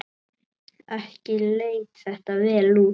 Ekki leit þetta vel út.